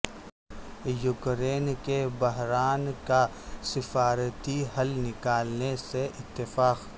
Ukraine کے بحران کا سفارتی حل نکالنے سے اتفاق